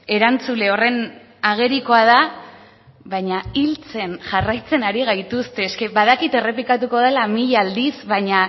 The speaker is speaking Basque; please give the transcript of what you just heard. erantzule horren agerikoa da baina hiltzen jarraitzen ari gaituzte eske badakit errepikatuko dela mila aldiz baina